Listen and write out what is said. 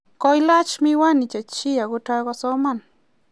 koilach miwani che chiik akotoi kosoman